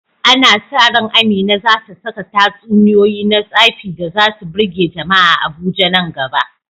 Ana sa ran Amina za ta saka tatsuniyoyi na tsafi da za su birge jama’a a Abuja nan gaba.